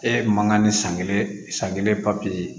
E man kan ni san kelen san kelen papiye